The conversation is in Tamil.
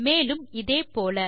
மேலும் இதே போல